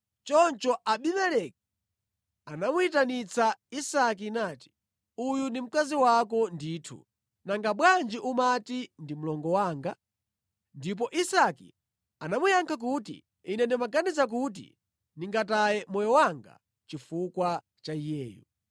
Choncho Abimeleki anamuyitanitsa Isake nati, “Uyu ndi mkazi wako ndithu! Nanga bwanji umati, ‘Ndi mlongo wanga’?” Ndipo Isake anamuyankha kuti, “Ine ndimaganiza kuti ndingataye moyo wanga chifukwa cha iyeyu.”